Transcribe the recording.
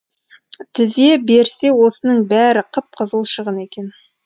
тізе берсе осының бәрі қып қызыл шығын екен